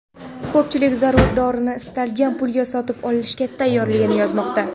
Ko‘pchilik zarur dorini istalgan pulga sotib olishga tayyorligini yozmoqda.